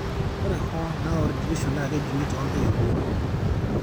Ore hoo, naa ore deletion naa kejung'I too Intoiwuo.